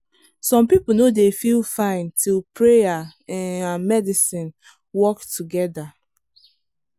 some people no dey feel fine till prayer um and medicine work together.